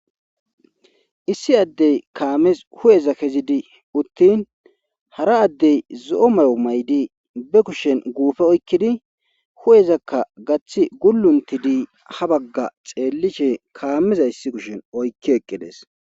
issi addey kaames hu7eza kezidi uttin hara addey zo7o mayo may7di be kushen guufe oykkidi hu7ezakka gaththi gulluntidi ha bagga xeellishe kaameza issi kushen oykki eqqides